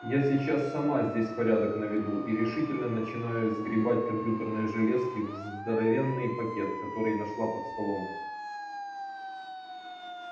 я сейчас сама здесь порядок наведу и решительно начинаю сгребать компьютерные железки в здоровенный пакет который нашла под столом